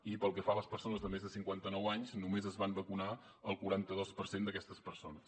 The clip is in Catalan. i pel que fa a les persones de més de cinquanta nou anys només es van vacunar el quaranta dos per cent d’aquestes persones